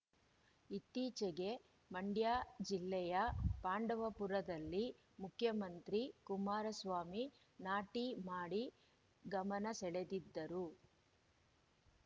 ಇತ್ತೀಚೆಗೆ ಮಂಡ್ಯ ಜಿಲ್ಲೆಯ ಪಾಂಡವಪುರದಲ್ಲಿ ಮುಖ್ಯಮಂತ್ರಿ ಕುಮಾರಸ್ವಾಮಿ ನಾಟಿ ಮಾಡಿ ಗಮನಸೆಳೆದಿದ್ದರು